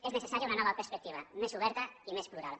és necessària una nova perspectiva més oberta i més plural